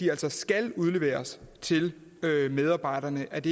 altså skal udleveres til medarbejderne at